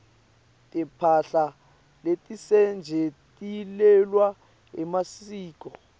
timphahla letisetjentiselwa emasiko